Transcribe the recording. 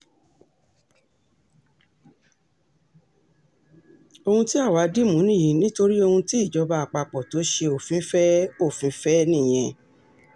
ohun tí àwa dì mú nìyí nítorí ohun tí ìjọba àpapọ̀ tó ṣe òfin fẹ́ òfin fẹ́ nìyẹn